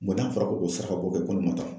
n'a fɔra ko kɛ saraka bɔ kɛ ko ne ma taa